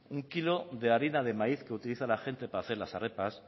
un kilo de harina de maíz que utiliza la gente para hacer las